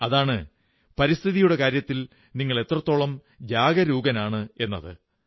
അതാണ് പരിസ്ഥിതിയുടെ കാര്യത്തിൽ നിങ്ങൾ എത്രത്തോളം ജാഗരൂകനാണ് എന്നത്